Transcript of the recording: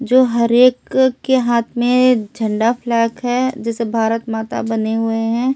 जो हर एक के हाथ में झंडा फ्लैग है जिसे भारत माता बने हुए हैं।